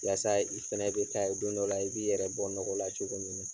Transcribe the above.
Walasa i fɛnɛ be k'a ye don dɔ la, i b'i yɛrɛ bɔ nɔgɔ la cogo min na.